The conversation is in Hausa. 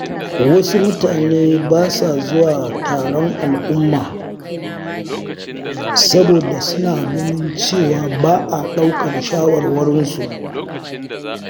Wasu mutane ba sa zuwa taron al’umma, saboda suna ganin cewa ba a ɗaukar shawarwarinsu.